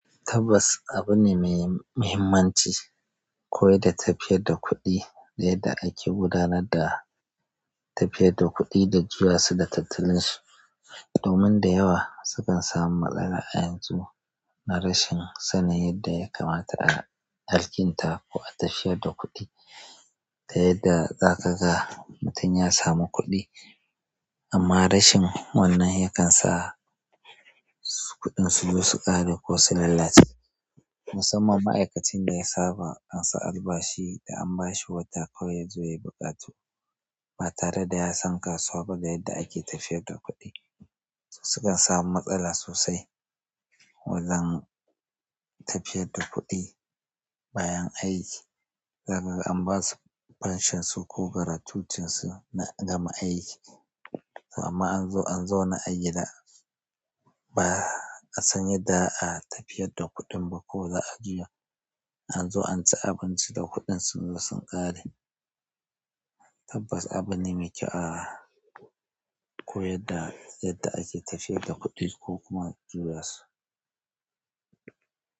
Tabbas, abu ne mai muhimmanci, koyar da tafiyar da kuɗi yadda ake gudanar da tafiyar da kuɗi da juyawa su da tattalin shi. Domin da yawa sukan samu matsala a yanzu, na rashin sanin yadda ya kamata a alƙinta ko a tafiyar da kuɗi. Ta yadda za ka ga mutum ya samu kuɗi, amma rashin wannan, yakan sa kuɗin su zo su ƙare ko su lalace. Musamman ma'aikacin da ya saba ansar albashi da an bashi wata kawai ya zo ya yi buƙatu, ba tare da ya san kasuwa ba da yadda ake tafiyar da kuɗi. Su sukan samu matsala sosai wajen tafiyar da kuɗi bayan aiki. Dama an basu fanshon su ko gratutinsu na gama aiki amma an zo an zo na a gida da ba a san yadda a tafiyar da kuɗin ba ko za a juya. An zo an ci abinci da kuɗin sun zo sun ƙare. Tabbas, abu ne mai kyau a koyar da yadda ake tafiyar da kuɗi ko kuma juyawa su.